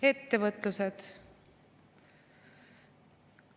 Ettevõtlusest.